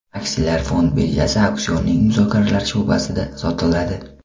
Aksiyalar fond birjasi auksionining muzokaralar sho‘basida sotiladi.